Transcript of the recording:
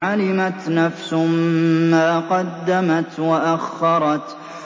عَلِمَتْ نَفْسٌ مَّا قَدَّمَتْ وَأَخَّرَتْ